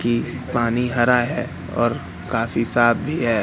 की पानी हरा है और काफी साथ भी है।